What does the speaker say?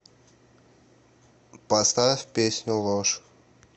поставь песню ложь